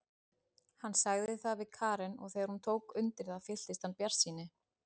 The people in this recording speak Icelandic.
Hann sagði það við Karen og þegar hún tók undir það fylltist hann bjartsýni.